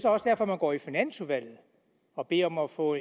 også derfor man går i finansudvalget og beder om at få